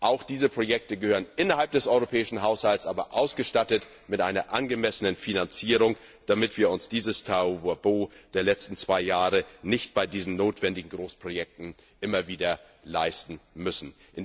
Auch diese Projekte gehören in den europäischen Haushalt, aber ausgestattet mit einer angemessenen Finanzierung, damit wir uns dieses Tohuwabohu der letzten zwei Jahre nicht bei diesen notwendigen Großprojekten immer wieder leisten müssen.